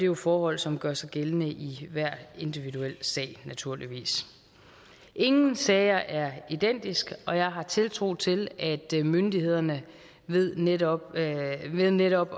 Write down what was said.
jo forhold som gør sig gældende i hver individuel sag naturligvis ingen sager er identiske og jeg har tiltro til at myndighederne ved netop ved netop